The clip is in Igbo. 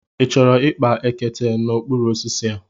Ị chọrọ ịkpa ekete n'okpuru osisi a?